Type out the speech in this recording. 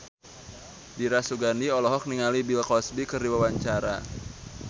Dira Sugandi olohok ningali Bill Cosby keur diwawancara